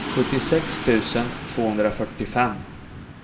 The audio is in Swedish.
sjuttiosex tusen tvåhundrafyrtiofem